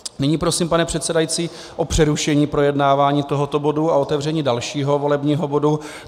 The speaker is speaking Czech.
Nyní prosím, pane předsedající, o přerušení projednávání tohoto bodu a otevření dalšího volebního bodu.